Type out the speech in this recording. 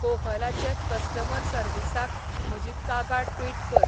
कोहलाचे customer सर्व्हिसाक म्हजी कागाळ ट्विट कर